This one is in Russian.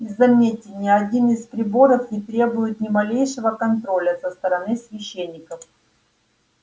и заметьте ни один из приборов не требует ни малейшего контроля со стороны священников